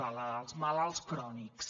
als malalts crònics